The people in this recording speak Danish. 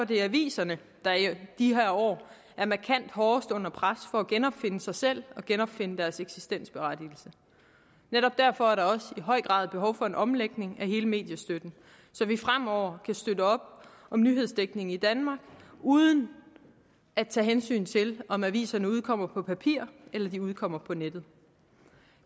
det er aviserne der i de her år er markant hårdest under pres for at genopfinde sig selv og genopfinde deres eksistensberettigelse netop derfor er der også i høj grad behov for en omlægning af hele mediestøtten så vi fremover kan støtte op om nyhedsdækningen i danmark uden at tage hensyn til om aviserne udkommer på papir eller de udkommer på nettet